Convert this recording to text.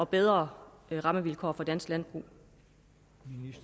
bedre rammevilkår for dansk landbrug